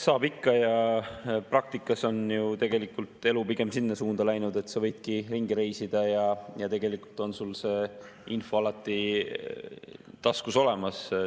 Saab ikka ja praktikas on ju tegelikult elu pigem sinna suunda läinud, et sa võidki ringi reisida ja tegelikult on sul see info alati taskus olemas.